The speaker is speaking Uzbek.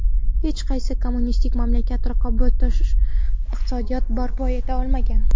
Hech qaysi kommunistik mamlakat raqobatbardosh iqtisodiyot barpo eta olmagan.